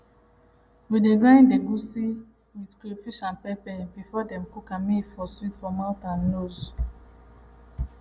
we dey grind egusi with crayfish and pepper before dem cook am may e for sweet for mouth and nose